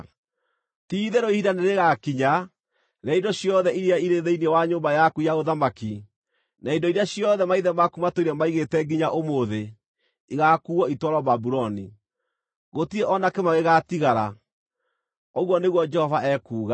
Ti-itherũ ihinda nĩrĩgakinya, rĩrĩa indo ciothe iria irĩ thĩinĩ wa nyũmba yaku ya ũthamaki, na indo iria ciothe maithe maku matũire maigĩte nginya ũmũthĩ, ĩgaakuuo itwarwo Babuloni. Gũtirĩ o na kĩmwe gĩgaatigara, ũguo nĩguo Jehova ekuuga.